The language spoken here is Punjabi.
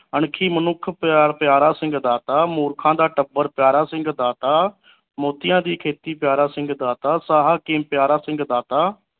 ਅਣਖੀ ਮਨੁੱਖ ਪਿਆਰ ਪਿਆਰਾ ਸਿੰਘ ਦਾਤਾ ਮੂਰਖਾ ਦਾ ਟੱਬਰ ਪਿਆਰਾ ਸਿੰਘ ਦਾਤਾ ਮੋਤੀਆਂ ਦੀ ਖੇਤੀ ਪਿਆਰਾ ਸਿੰਘ ਦਾਤਾ ਸਾਹਾ ਪਿਆਰਾ ਸਿੰਘ ਦਾਤਾ